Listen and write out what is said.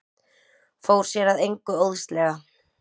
Fór sér að engu óðslega.